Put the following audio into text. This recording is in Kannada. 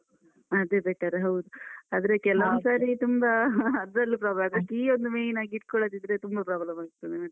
ಅದೇ better ಹೌದು, ಆದ್ರೆ ತುಂಬಾ ಅದ್ರಲ್ಲೂ problem ಅದೇ key ಒಂದು main ಆಗಿ ಇಟ್ಕೊಳ್ಳದಿದ್ರೆ ತುಂಬ problem ಆಗ್ತದೆ ಮತ್ತೆ.